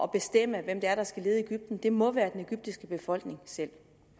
bestemme hvem det er der skal lede egypten det må være den egyptiske befolkning selv